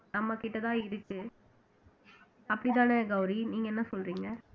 நம்மகிட்டதான் இருக்கு அப்படித்தானே கௌரி நீங்க என்ன சொல்றீங்க